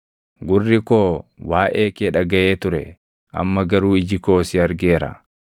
Gurri koo waaʼee kee dhagaʼee ture; amma garuu iji koo si argeera.